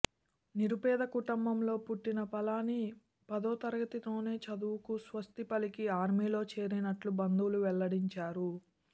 నిరుపేద కుటుంబంలో పుట్టిన పళని పదో తరగతితోనే చదువుకు స్వస్తిపలికి ఆర్మీలో చేరినట్టు బంధువులు వెల్లడించారు